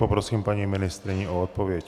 Poprosím paní ministryni o odpověď.